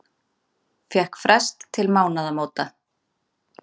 Fékk frest til mánaðamóta